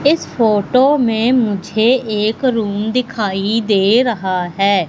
इस फोटो में मुझे एक रूम दिखाई दे रहा है।